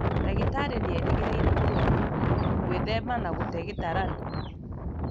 Ndagĩtarĩ nĩerĩgĩrĩire mũrwaru gwĩthema na gũte gĩtaranio